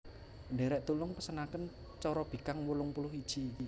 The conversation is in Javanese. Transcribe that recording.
Ndherek tulung pesenaken corobikang wolong puluh iji